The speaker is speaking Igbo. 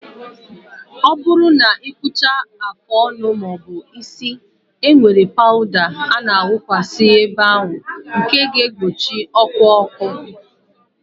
Ọ bụrụ na ị kpụchaa afụ ọnụ maọbu isi, e nwere pawụda a na awụkwasi n'ebe ahụ nke ga egbochi ọkụ ọkụ